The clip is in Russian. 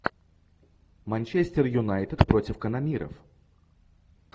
манчестер юнайтед против канониров